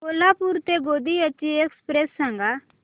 कोल्हापूर ते गोंदिया ची एक्स्प्रेस सांगा